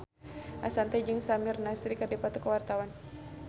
Ashanti jeung Samir Nasri keur dipoto ku wartawan